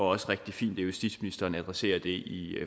også rigtig fint at justitsministeren adresserer det i